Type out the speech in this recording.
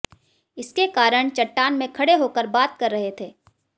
इसके कारण चट्टान में खड़े होकर बात कर रहे थे